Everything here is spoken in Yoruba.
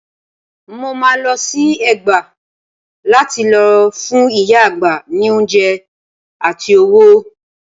Mo máa lọ sí Ẹ̀gbá lá ti lọ fún ìyá àgbà ní oúnjẹ àti owó.